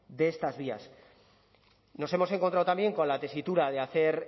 de estas vías nos hemos encontrado también con la tesitura de hacer